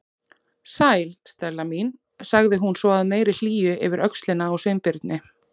Sæl, Stella mín- sagði hún svo af meiri hlýju yfir öxlina á Sveinbirni.